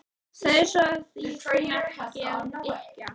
Segðu svo að ég kunni ekki að yrkja!